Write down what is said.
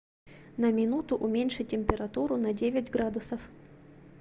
на минуту уменьши температуру на девять градусов